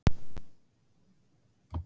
Við erum mjög sáttar með þetta.